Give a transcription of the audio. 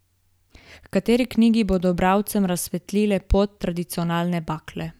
H kateri knjigi bodo bralcem razsvetlile pot tradicionalne bakle?